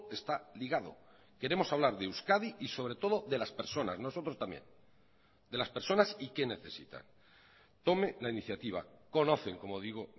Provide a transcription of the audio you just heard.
está ligado queremos hablar de euskadi y sobre todo de las personas nosotros también de las personas y qué necesitan tome la iniciativa conocen como digo